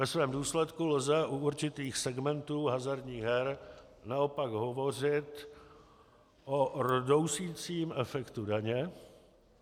Ve svém důsledku lze u určitých segmentů hazardních her naopak hovořit o rdousicím efektu daně.